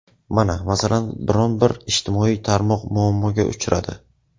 Mana, masalan, biror-bir ijtimoiy tarmoq muammoga uchradi.